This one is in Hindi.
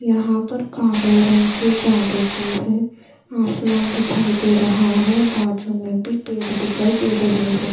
यहां पर काले रंग की जादू की है आसमान दिखाई दे रहा है बाजू में भी पेड़ दिखाई दे रहे हैं।